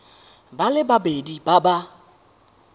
ba le babedi ba ba